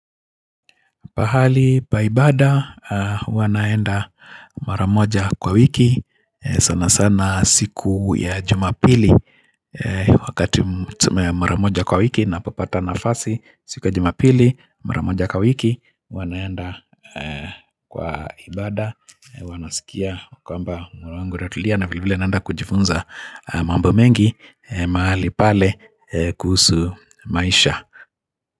Pahali pa ibada huwa naenda mara moja kwa wiki sana sana siku ya jumapili wakati tuseme mara moja kwa wiki napopata nafasi siku ya jumapili maramoja kwa wiki huwa naenda kwa ibada Wanasikia kwamba mwana wangu ratulia na vile vile naenda kujifunza mambo mengi mahali pale kuhusu maisha.